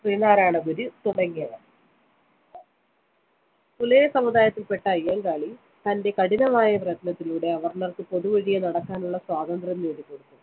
ശ്രീനാരായണഗുരു തുടങ്ങിയവര്‍. പുലയസമുദായത്തില്‍പ്പെട്ട അയ്യങ്കാളി തന്റെ കഠിനമായ പ്രയത്‌നത്തിലൂടെ അവര്‍ണര്‍ക്ക് പൊതുവഴിയെ നടക്കാനുള്ള സ്വാതന്ത്ര്യം നേടിക്കൊടുത്തു.